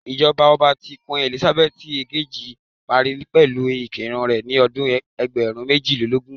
Ijọba ọba ti Queen Elizabeth ekeji pari pẹlu iku rẹ ni ọdun ẹgbẹrun mejilelogun